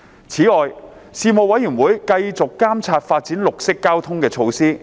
此外，事務委員會繼續監察發展綠色交通的措施。